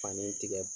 Fani tigɛ